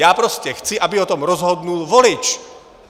Já prostě chci, aby o tom rozhodl volič.